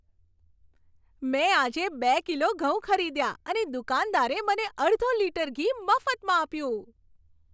મેં આજે બે કિલો ઘઉં ખરીદ્યા અને દુકાનદારે મને અડધો લિટર ઘી મફતમાં આપ્યું.